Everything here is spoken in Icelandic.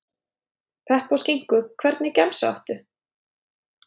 Pepp og skinku Hvernig gemsa áttu?